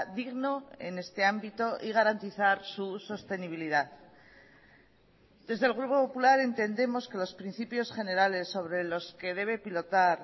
digno en este ámbito y garantizar su sostenibilidad desde el grupo popular entendemos que los principios generales sobre los que debe pilotar